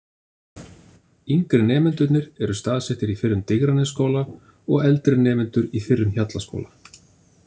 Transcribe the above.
Yngri nemendurnir eru staðsettir í fyrrum Digranesskóla og eldri nemendur í fyrrum Hjallaskóla.